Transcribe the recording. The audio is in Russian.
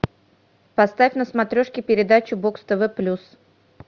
поставь на смотрешке передачу бокс тв плюс